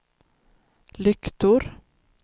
lyktor